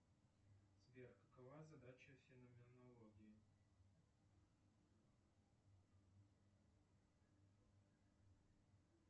сбер какова задача феноменологии